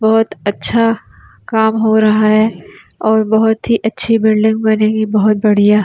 बहुत अच्छा काम हो रहा है और बहुत ही अच्छी बिल्डिंग बनेगी बहुत बढ़िया --